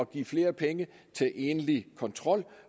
give flere penge til egentlig kontrol